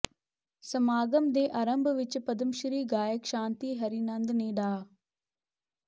ਸਮਾਗਮ ਦੇ ਅਰੰਭ ਵਿੱਚ ਪਦਮਸ਼੍ਰੀ ਗਾਇਕ ਸ਼ਾਂਤੀ ਹੀਰਾਨੰਦ ਨੇ ਡਾ